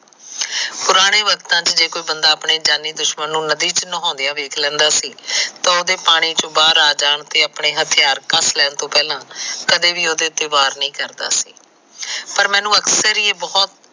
ਪੁਰਾਣੇ ਸਮਿਆ ਵਿੱਚ ਜੇਕਰ ਬੰਦਾ ਆਪਣੇ ਦੁਸ਼ਮਣ ਨੂੰ ਨਦੀ ਚ ਨਹਾਉਂਦਿਆ ਵੇਖ ਲੈਂਦਾ ਸੀ ਉਹਦੇ ਪਾਣੀ ਤੋਂ ਬਾਹਰ ਆ ਜਾਣ ਆਪਣੇ ਹਥਿਆਰ ਕੱਸ ਲੈਣ ਤੋ ਪਹਿਲਾ ਕਦੇ ਵੀ ਉਹਦੇ ਤੇ ਵਾਰ ਨਹੀਂ ਕਰਦਾ ਸੀ ਪਰ ਮੈਨੂੰ ਅਕਸਰ ਹੀ ਬਹੁਤ